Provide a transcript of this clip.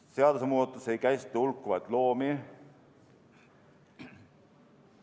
Seadusmuudatus ei käsitle hulkuvaid loomi.